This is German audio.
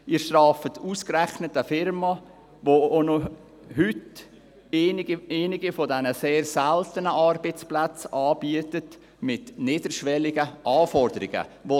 Sie strafen ausgerechnet eine Firma, die auch noch heute einige der seltenen Arbeitsplätze mit niederschwelligen Anforderungen anbietet.